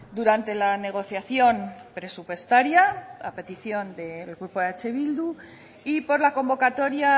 durante la negociación presupuestaria a petición del grupo eh bildu y por la convocatoria